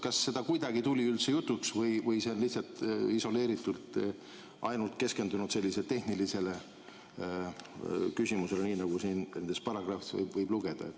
Kas see tuli kuidagi jutuks või on siin lihtsalt isoleeritult keskendutud ainult sellisele tehnilisele küsimusele, nii nagu nendest paragrahvidest võib lugeda?